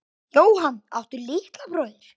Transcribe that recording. Jóhann: Áttu litla bróðir?